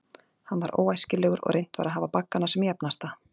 Hann var óæskilegur, og reynt var að hafa baggana sem jafnasta.